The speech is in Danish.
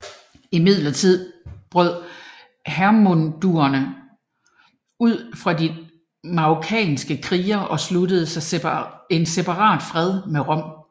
Imidlertid brød hermundurerne ud fra de markomanniske krigere og sluttede en separat fred med Rom